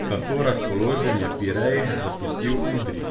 Kako razpoložen je Pirej zapustil Udrih?